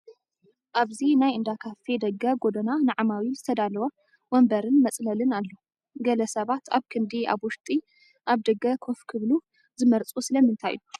ኣብዚ ናይ እንዳ ካፊ ደገ ጐደና ንዓማዊል ዝተዳለወ ወንበርን መፅለልን ኣሎ፡፡ ገለ ሰባት ኣብ ክንዲ ኣብ ውሽጢ ኣብ ደገ ኮፍ ክልሉ ዝመርፁ ስለምንታይ እዩ?